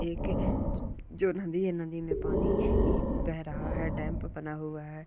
एक जो नदी है नदी मे पानी बह रहा है डेम्प बना हुआ है।